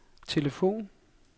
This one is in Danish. telefon